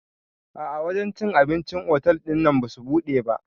A'a wajen cin abincin cikin otal ɗinnan basu buɗe ba